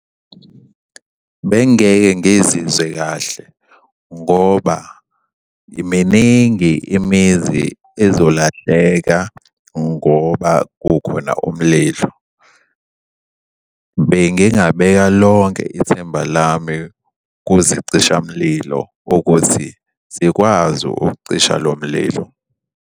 Bengingeke ngizizwe kahle ngoba miningi imizi ezolahleka ngoba kukhona umlilo. Bengingabeka lonke ithemba lami kuzicishamlilo ukuthi zikwazi ukucisha lo mlilo.